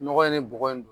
Nɔgɔ in ne bɔgɔ in